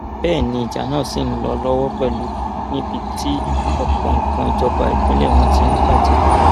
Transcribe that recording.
bẹẹ ni ìjà náà ṣì ń lọ lọwọ pẹlú níbi tí ọpọ nǹkan ìjọba ìpínlẹ wọn ti ń bàjẹ